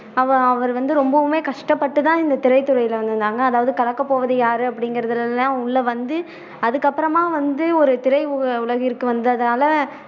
அவ அவரு வந்து ரொம்பவுமே கஷ்டப்பட்டு தான் இந்த திரைத்துறையில வந்தாங்க அதாவது கலக்கப்போவது யாரு அப்படிங்குறதுலலாம் உள்ள வந்து அதுக்கப்பறமா வந்து ஒரு திரை உ உலகிற்கு வந்ததால